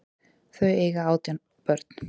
Þau eiga átján börn.